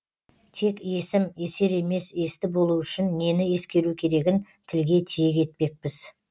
тек есім есер емес есті болу үшін нені ескеру керегін тілге тиек етпекпіз